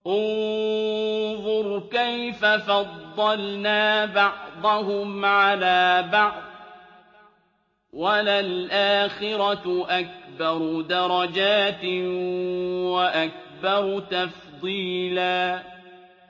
انظُرْ كَيْفَ فَضَّلْنَا بَعْضَهُمْ عَلَىٰ بَعْضٍ ۚ وَلَلْآخِرَةُ أَكْبَرُ دَرَجَاتٍ وَأَكْبَرُ تَفْضِيلًا